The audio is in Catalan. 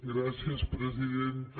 gràcies presidenta